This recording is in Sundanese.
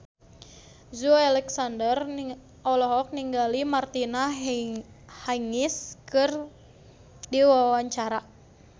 Joey Alexander olohok ningali Martina Hingis keur diwawancara